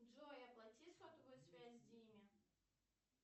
джой оплати сотовую связь диме